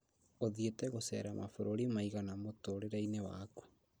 ũthiĩte gucera mabũrũri maigana mũtũrĩreinĩ waku